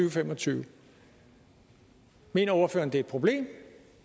og fem og tyve mener ordføreren det er problem